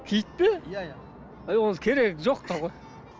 киіт пе иә иә әй ол керегі жоқ та ғой